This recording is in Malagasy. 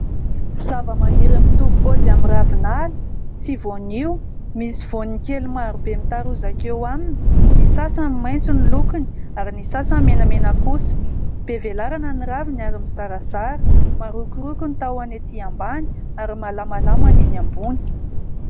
Zavamaniry mitovy paozy amin'ny ravinala sy voanio. Misy vaoniny kely marobe mitarozaka eo aminy, ny sasany maintso ny lokiny, ary ny sasany menamena kosa. Be velarana ny raviny ary mizarazara, marokoroko ny tahony ety ambony ary malamalama ny eny ambony.